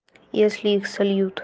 если их сольют